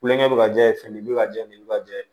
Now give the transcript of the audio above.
Kulonkɛ bɛ ka jɛ fɛn nin bɛ ka jɛ nin bɛ ka jɛ